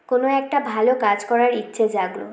কোনো একটা ভালো কাজ করার ইচ্ছে জাগলো